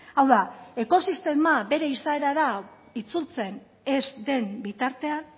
hau da ekosistema bere izaerara itzultzen ez den bitartean